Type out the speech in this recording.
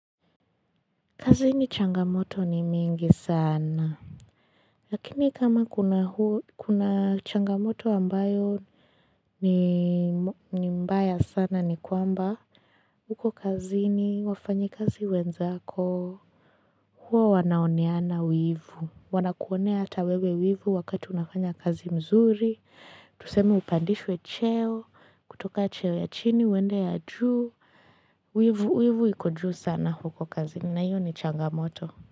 Kazini changamoto ni mingi sana. Lakini kama kuna changamoto ambayo ni mbaya sana ni kwamba. Huko kazini wafanyi kazi wenzako. Huwa wanaoneana wivu. Wanakuonea ata wewe wivu wakati unafanya kazi mzuri. Tuseme upandishwe cheo. Kutoka cheo ya chini. Kwenda ya juu. Wivu iko juu sana huko kazini. Na hio ni changamoto.